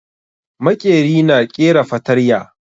Maƙeri na ƙera fatarya